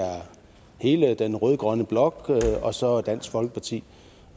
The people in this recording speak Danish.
hele den rød grønne blok og så dansk folkeparti